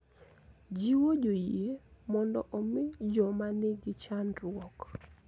Jiwo joyie mondo omi joma nigi chandruok .